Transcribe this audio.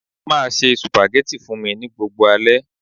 Be cooking spaghetti for me every night.